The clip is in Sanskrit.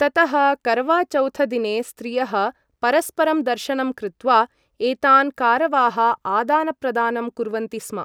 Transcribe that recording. ततः कारवाचौथदिने स्त्रियः परस्परं दर्शनं कृत्वा एतान् कारवाः आदानप्रदानं कुर्वन्ति स्म ।